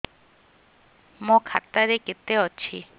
ମୋ ଖାତା ରେ କେତେ ଅଛି